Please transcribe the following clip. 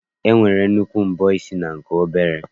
E nwere nnukwu mbọ isi na nke obere.